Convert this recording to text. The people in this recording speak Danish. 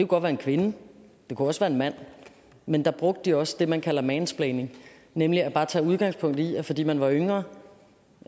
godt være en kvinde det kunne også være en mand men der brugte de også det man kalder mansplaining nemlig bare at tage udgangspunkt i at fordi man var yngre